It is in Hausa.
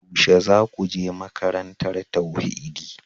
Yaushe za ku je makarantar tauhidi?